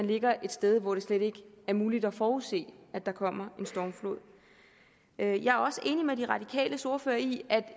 ligger et sted hvor det slet ikke er muligt at forudse at der kommer en stormflod jeg er også enig med de radikales ordfører i at